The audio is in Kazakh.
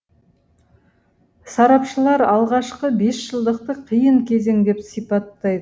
сарапшылар алғашқы бесжылдықты қиын кезең деп сипаттай